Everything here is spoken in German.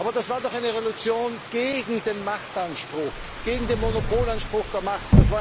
Aber das war doch eine Revolution gegen den Machtanspruch, gegen den Monopolanspruch der Macht.